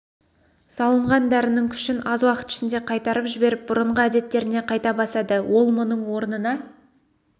салынған дәрінің күшін аз уақыт ішінде қайтарып жіберіп бұрынғы әдеттеріне қайта басады ол мұның орнына